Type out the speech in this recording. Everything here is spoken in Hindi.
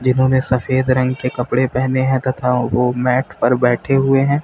इन्होंने सफेद रंग के कपड़े पहने हैं तथा वो मैट पर बैठे हुए हैं।